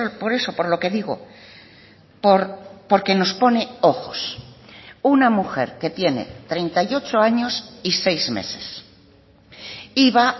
por eso por lo que digo porque nos pone ojos una mujer que tiene treinta y ocho años y seis meses y va